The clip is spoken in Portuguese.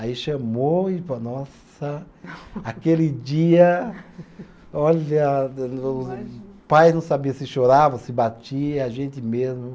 Aí chamou e falou, nossa, aquele dia, olha, o pai não sabia se chorava, se batia, a gente mesmo.